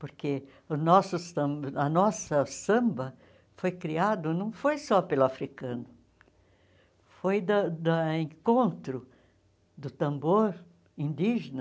Porque o nosso samba a nossa samba foi criada, não foi só pelo africano, foi da da encontro do tambor indígena